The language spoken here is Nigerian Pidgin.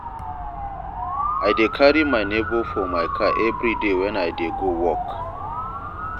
I dey carry my nebor for my car everyday wen I dey go work.